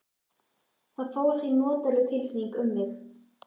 Það fór því notaleg tilfinning um mig.